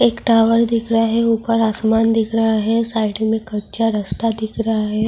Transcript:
ایک ٹاور دکھایا اوپر اسمان دکھا ہے سائیڈ میں کچا راستہ دکھ رہا ہے-